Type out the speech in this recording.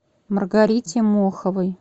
маргарите моховой